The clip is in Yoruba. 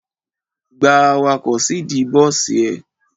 Gba awakọ̀ síìdí bọ́sì ẹ!